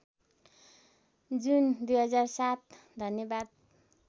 जुन २००७ धन्यवाद